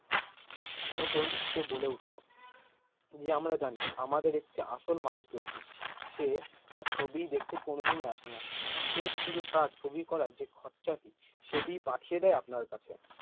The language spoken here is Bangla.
তখন সে বলে উঠলো যে আমরা জানি আমাদের একটি আসল মালিক রয়েছে সে তার ছবি দেখতে কোনো দিন আসে না সে শুধু তার ছবি করার যে খরচা টি সেটিই পাঠিয়ে দেয় আপনার কাছে।